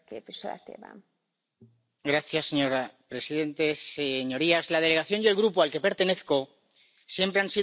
Señora presidenta, señorías, la delegación y el Grupo al que pertenezco siempre han sido los primeros en condenar el antisemitismo.